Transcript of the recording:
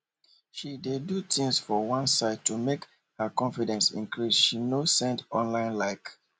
she dey do tins for one side to make her confidence increase she nor send online like